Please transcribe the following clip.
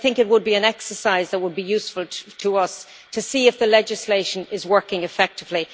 This would be an exercise that would be useful to us, to see if the legislation is working effectively.